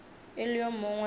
e le yo mongwe wa